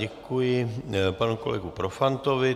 Děkuji panu kolegu Profantovi.